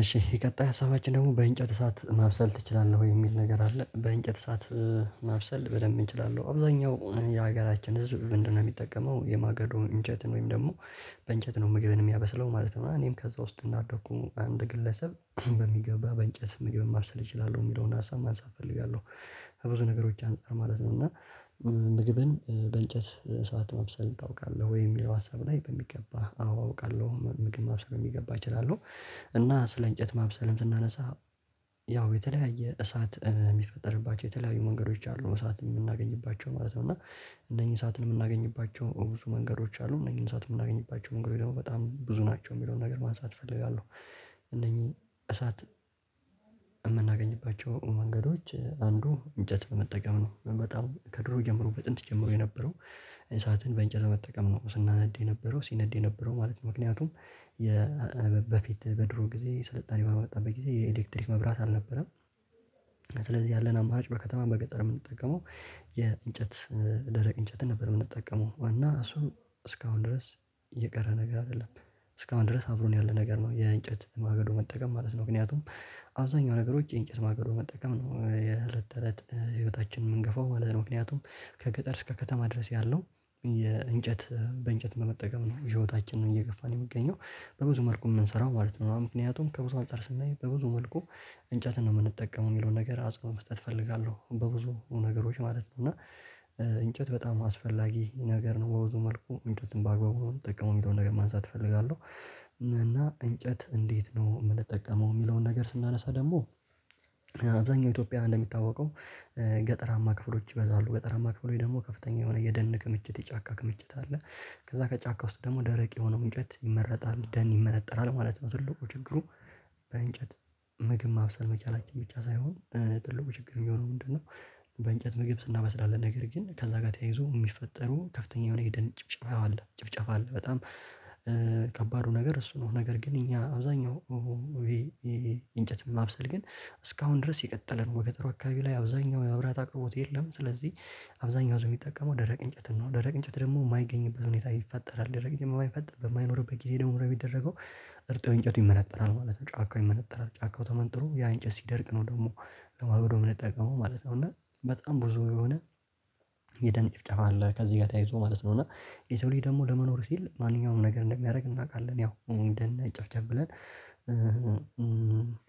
እሺ የቀጣይ ሀሳባችን ደግሞ በእንጨት እሳት ማብሰል ትችላለህ ወይ የሚል ነገር አለ በእንጨት እሳት? ማብሰል በደንብ እችላለሁ። አብዛኛው የሀገራችን ህዝብ ምንድነው የሚጠቀመው የማገዶ እንጨትን ወይም ደግሞ በእንጨት ነው ምግብን የሚያበስለው ማለት ነው። እና እኔም ከዛ ውስጥ እንዳደግሁ አንድ ግለሰብ በሚገባ በእንጨት መግብ ማብሰል እችላለሁ የሚለውን ሀሳብ ማንሳት እፈልጋለሁ። ከብዙ ነገሮች አንፃር ማለት ነው። እና ምግብን በእንጨት እሳት ማብሰል ታውቃለህ ወይ የሚለው ሀሳብ ላይ በሚገባ አዎ አውቃለሁ ምግብ ማብሰል በሚገባ እችላለሁ። እና ስለ እንጨት ማብሰልም ስናነሳ ያው የተለያየ እሳት የሚፈጠርባቸው የተለያዩ መንገዶች አሉ እሳት የምናገኝባቸው ማለት ነው። እና እነኚህ እሳትን የምናገኝባቸው ብዙ መንገዶች አሉ እነዚህን እሳት የምናገኝባቸው መንገድ ደግሞ በጣም ብዙ ናቸው የሚለውን ነገር ማንሳት እፈልጋለሁ። እነኚህ እሳት የምናገኝባቸው መንገዶች አንዱ እንጨት በመጠቀም ነው። በጣም ከድሮ ጀምሮ በጥንት ጀምሮ የነበረው። እንሳትን በእንጨት መጠቀም ነው ስናነድ የነበረው ሲነድ የነበረው ማለት ምክንያቱም። በፊት በድሮ ጊዜ ስልጣኔ ባልመጣበት ጊዜ የኤሌክትሪክ መብራት አልነበረም። ስለዚህ ያለን አማራጭ በከተማም በገጠርም የምንጠቀመው ደረቅ እንጨት ነበር። የምንጠቀመው እና እሱም እስካሁን ድረስ የቀረ ነገር አይደለም። እስካሁን ድረስ አብሮን ያለ ነገር ነው የእንጨት ማገዶ መጠቀም ማለት ነው። ምክንያቱም አብዛኛው ነገሮች የእንጨት ማገዶ መጠቀም ነው የእለት ተእለት ህይወታችንን የምንገፋው ማለት ነው። ምክንያቱም ከገጠር እስከ ከተማ ድረስ ያለው የእንጨት በእንጨት በመጠቀም ነው። ህይወታችንን እየገፋን የሚገኘው የምንገኘው በብዙ መልኩ ምንሰራው ማለት ነው። ምክንያቱም ከብዙ አንፃር ስናይ በብዙ መልኩ እንጨትን ነው የምንጠቀመው የሚለውን ነገር አጽንኦት መስጠት እፈልጋለሁ። በብዙ ነገሮች ማለት ነው እና እንጨት በጣም አስፈላጊ ነገር ነው። በብዙ መልኩ እንጨትን በአግባቡ ነው የምጠቀመው የሚለውን ነገር ማንሳት እፈልጋለሁ። እና እንጨት እንዴት ነው የምንጠቀመው የሚለውን ነገር ስናነሳ ደግሞ። አብዛኛው ኢትዮጵያ እንደሚታወቀው ገጠራማ ክፍሎች ይበዛሉ ገጠራማ ክፍሎች ደግሞ ከፍተኛ የሆነ የደን ክምችት የጫካ ክምችት አለ። ከዛ ከጫካ ውስጥ ደግሞ ደረቅ የሆነው እንጨት ይመረጣል ደን ይመነጠራል ማለት ነው። ትልቁ ችግሩ። በእንጨት ምግብ ማብሰል መቻላችን ብቻ ሳይሆን ትልቁ ችግር የሚሆነው ምንድነው? በእንጨት ምግብ እናበስላለን ነገር ግን ከዛ ጋር ተያይዞ የሚፈጠሩ ከፍተኛ የሆነ የደን ጭብጨባ አለ ጭፍጨፋ አለ። በጣም ከባዱ ነገር እሱ ነው። ነገር ግን እኛ አብዛኛው እንጨት ማብሰል ግን እስካሁን ድረስ የቀጠለ ነው። በገጠሩ አካባቢ ላይ አብዛኛው የመብራት አቅርቦት የለም። ስለዚህ አብዛኛው ሰው የሚጠቀመው ደረቅ እንጨት ነው ደረቅ እንጨት ደግሞ የማይገኝበት ሁኔታ ይፈጠራል ደረቅ የማይፈጠር በማይኖርበት ጊዜ ደግሞ ምንድ ነው የሚደረገው? እርጥብ እንጨቱ ይመነጠራል ማለት ነው። ጫካው ይመነጠራል ጫካው ተመንጥሮ ያ እንጨት ሲደርቅ ነው ደግሞ ለማጎዶ የምንጠቀመው ማለት ነው። እና በጣም ብዙ የሆነ የደን ጭፍጨፋ አለ ከዚህ ጋር ተያይዞ ማለት ነው። እና የሰው ልጅ ደግሞ ለመኖር ሲል ማንኛውም ነገር እንደሚያደርግ እናውቃለን ያው ደን እንዳንጨፍጨፍ ብለን።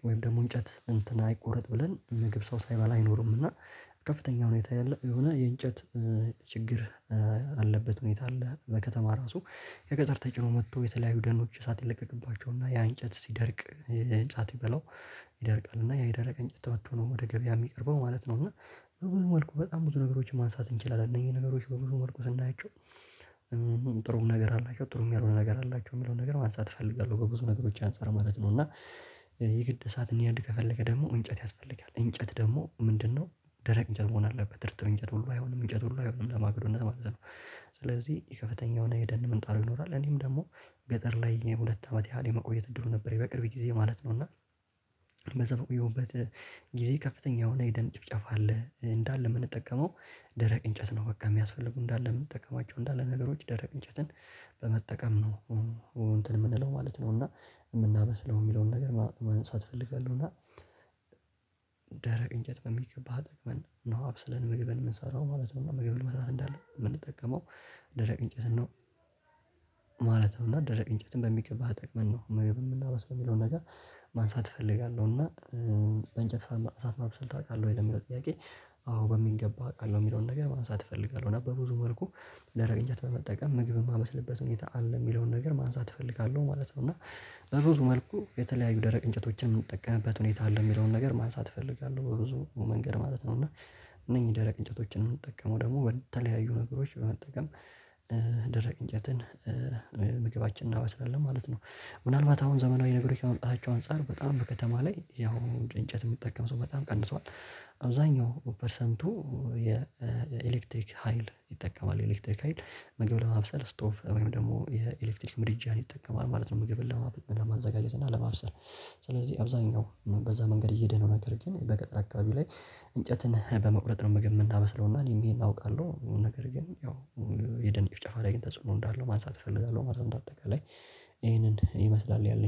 ወይም ደግሞ እንጨት እንትን አይቆረጥ ብለን ምግብ ሰው ሳይበላ አይኖርምና። ከፍተኛ ሁኔታ ያለ የሆነ የእንጨት ችግር አለበት ሁኔታ አለ። በከተማ ራሱ ከገጠር ተጭኖ መጥቶ የተለያዩ ደኖች እሳት ይለቀቅባቸውና ያ እንጨት ሲደርቅ ህንፃ ሲበላው። ይደርቃል እና ያ የደረቀ እንጨት ተበቶ ነው ወደ ገበያ የሚቀርበው ማለት ነው። እና በብዙ መልኩ በጣም ብዙ ነገሮችን ማንሳት እንችላለን። እነኚህ ነገሮች በሙሉ ወድቀው ስናያቸው ጥሩ ነገር አላቸው ጥሩም ያልሆነ ነገር አላቸው የሚለውን ነገር ማንሳት እፈልጋለሁ። በብዙ ነገሮች አንፃር ማለት ነው። እና የግድ እሳት እንዲነድ ከፈለገክ ደግሞ እንጨት ያስፈልጋል እንጨት ደግሞ ምንድነው? ደረቅ እንጨት መሆን አለበት እርጥብ እንጨት ሁሉ አይሆንም። እንጨት ለሁሉ ነገር ለማግዶነት ማለት ነው። የከፈተኛ የሆነ የደን ምንጣፍ ይኖራል እኔም ደግሞ ገጠር ላይ የሁለት አመት ያህል የመቆየት እድሉ ነበርኝ በቅርብ ጊዜ ማለት ነው። እና በዛ በቆየሁበት ጊዜ ከፍተኛ የሆነ የደን ጭፍጨፍ አለ። እንዳለ የምንጠቀመው ደረቅ እንጨት ነው በቃ የሚያስፈልጉ እንዳለ የምንጠቀማቸው እንዳለ ነገሮች ደረቅ እንጨትን በመጠቀም ነው። እንትን የምንለው ማለት ነው እና የምናበስለው የሚለውን ነገር ማንሳት እፈልጋለሁ። እና ደረቅ እንጨት በሚገባ ተጠቅምን ነው አብሰለን ምግብን የምንሰራው ማለት ነው። ምግብ ለመስራት እንዳለ የምንጠቀመው ደረቅ እንጨትን ነው። ማለት ነው እና ደረቅ እንጨትም በሚገባ ተጠቅመን ነው ምግብ የምናበስለው የሚለውን ነገር ማንሳት እፈልጋለሁ። እና በእንጨት አብስለህ ታውቃለህ ወይ ለሚለው ጥያቄ። አዎ በሚገባ አውቃለሁ የሚለውን ነገር ማንሳት እፈልጋለሁ። ነበር ብዙ መልኩ ደረቅ እንጨት በመጠቀም ምግብ የማመስልበት ሁኔታ አለ የሚለውን ነገር ማንሳት እፈልጋለሁ ማለት ነው። እና በብዙ መልኩ የተለያዩ ደረቅ እንጨቶችን የምንጠቀምበት ሁኔታ አለ። የሚለውን ነገር ማንሳት እፈልጋለሁ። በብዙ መንገድ ማለት ነው። እና እነኚህ ደረቅ እንጨቶችን የምንጠቀመው ደግሞ በተለያዩ ነገሮች በመጠቀም ደረቅ እንጨትን ምግባችንን እናበስላለን ማለት ነው። ምናልባት አሁን ዘመናዊ ነገሮች ከመምጣታቸው አንፃር በጣም በከተማ ላይ ያው እንጨት የሚጠቀም ሰው በጣም ቀንሷል። አብዛኛው ፐርሰንቱ የኤሌክትሪክ ሀይል ይጠቀማል የኤሌክትሪክ ሀይል ምግብ ለማብሰል ስቶፍ ወይም ደግሞ የኤሌክትሪክ ምድጃን ይጠቀማል ማለት ነው። ምግብን ለማዘጋጀት እና ለማብሰል ስለዚህ አብዛኛው በዛ መንገድ እየሄደ ነው። ነገር ግን በገጠር አካባቢ ላይ እንጨትን በመቁረጥ ነው ምግብ የምናበስለውና እኔም ይሄን አውቃለሁ። ነገር ግን ያው የደን ጭፍጨፉ ላይ ተጽዕኖ እንዳለው ማንሳት እፈልጋለሁ ማለት ነው። እንደ አጠቃላይ ይሄንን ይመስላል ያለኝ